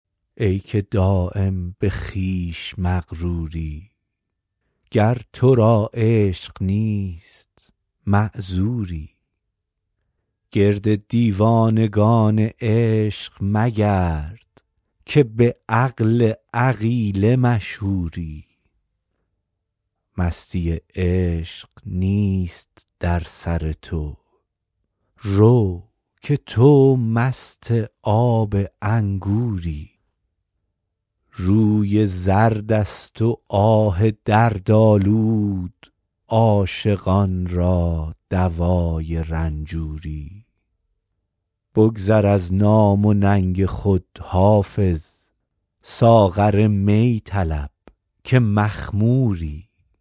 ای که دایم به خویش مغروری گر تو را عشق نیست معذوری گرد دیوانگان عشق مگرد که به عقل عقیله مشهوری مستی عشق نیست در سر تو رو که تو مست آب انگوری روی زرد است و آه دردآلود عاشقان را دوای رنجوری بگذر از نام و ننگ خود حافظ ساغر می طلب که مخموری